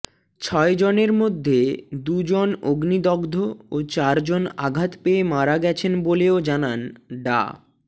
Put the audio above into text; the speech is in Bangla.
ছয়জনের মধ্যে দুজন অগ্নিদগ্ধ ও চারজন আঘাত পেয়ে মারা গেছেন বলেও জানান ডা